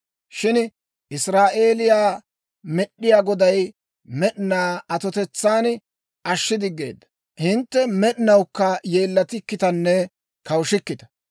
Shin Israa'eeliyaa Med'inaa Goday med'inaa atotetsaan ashshi diggeedda; hintte med'inawukka yeellatikkitanne kawushikkita.